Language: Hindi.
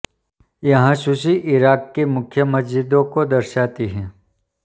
यह सूची इराक की मुख्य मस्जिदों को दर्शाती है